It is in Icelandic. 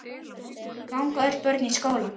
Ganga öll börn í skóla.